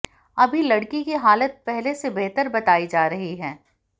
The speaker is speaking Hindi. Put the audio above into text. अभी लड़की की हालत पहले से बेहतर बताई जा रही है